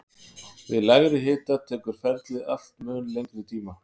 Við lægri hita tekur ferlið allt mun lengri tíma.